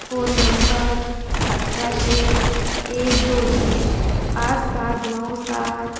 phone number आठराशे एक दोन एक पाच सात नऊ सात--